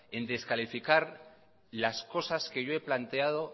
en descalificar las cosas que yo he planteado